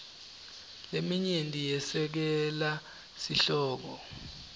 leminyenti yesekela sihloko